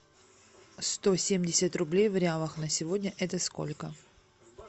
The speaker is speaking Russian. сто семьдесят рублей в реалах на сегодня это сколько